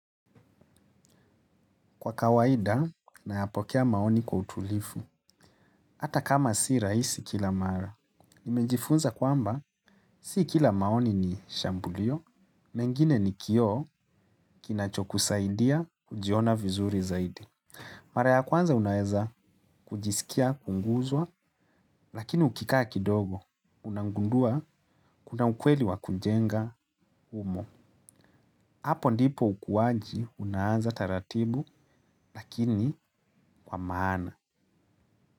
Kwa kawaida, nayapokea maoni kwa utulifu. Hata kama si rahisi kila mara. Nimejifunza kwamba, si kila maoni ni shambulio, mengine ni kioo kinacho kusaidia kujiona vizuri zaidi. Mara ya kwanza unaeza kujisikia kuguzwa, lakini ukikaa kidogo. Unagundua kuna ukweli wa kujenga humo. Apo ndipo ukuwaji, unaanza taratibu, lakini kwa maana.